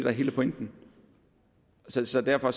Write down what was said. er hele pointen så så derfor